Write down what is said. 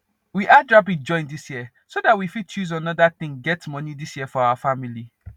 we add rabbit join this year so that we fit use another thing get money this year for our family